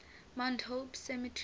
mount hope cemetery